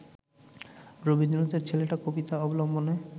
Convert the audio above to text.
রবীন্দ্রনাথের ‘ছেলেটা’ কবিতা অবলম্বনে